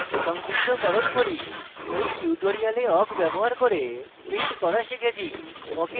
সংক্ষিপ্তকরণ করি in tutorial awk ব্যবহার করে print করা শিখেছি